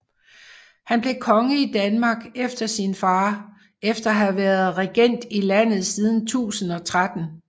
Han blev konge i Danmark efter sin far efter at have været regent i landet siden 1013